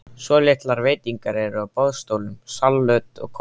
Svolitlar veitingar eru á boðstólum, salöt og kók.